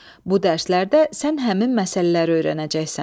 Bu dərslərdə sən həmin məsələləri öyrənəcəksən.